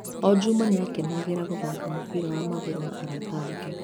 O Juma, nĩ aakenagĩra gũthaaka mũbira wa magũrũ na arata ake.